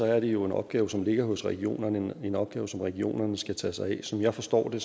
er det jo en opgave som ligger hos regionerne en opgave som regionerne skal tage sig af som jeg forstår det